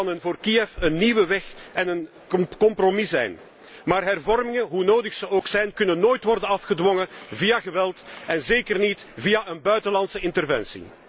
Het kan voor Kiev een nieuwe weg en een compromis zijn. Maar hervormingen, hoe nodig zij ook zijn, kunnen nooit worden afgedwongen via geweld en zeker niet via een buitenlandse interventie.